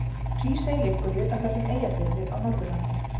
Hrísey liggur í utanverðum Eyjafirði á Norðurlandi.